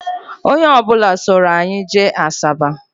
Onye ọ bụla soro anyị jee Asaba